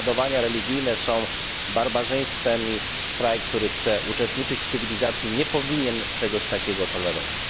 Prześladowania religijne są barbarzyństwem i kraj, który chce uczestniczyć w cywilizacji, nie powinien czegoś takiego tolerować.